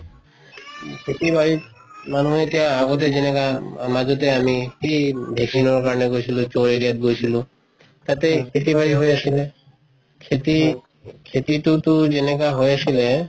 খেতি বাৰি মানুহে এতিয়া আগতে যেনেকা মাজতে আমি গৈছিলো area ত গৈছিলো তাতে খেতি বাৰি হৈ আছিলে খেতি খেতিতো যেনেকা হৈ আছিলে